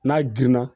N'a girinna